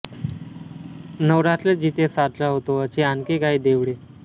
नवरात्र जिथे साजरा होतो अशी आणखी काही देवळे